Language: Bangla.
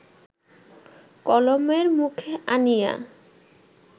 কলমের মুখে আনিয়া